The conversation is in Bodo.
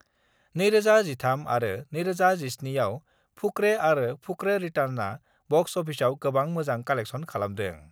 2013 आरो 2017 आव फुकरे आरो फुकरे रिटार्न्सआ बक्स अफिसआ गोबां मोजां कालेक्शन खालामदों।